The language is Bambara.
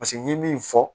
Paseke n'i ye min fɔ